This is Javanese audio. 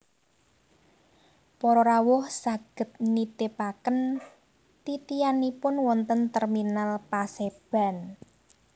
Para rawuh saged nitipaken titihanipun wonten Terminal Paseban